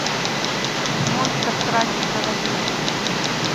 монстр траки заводи